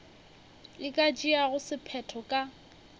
e ka tšeago sephetho ka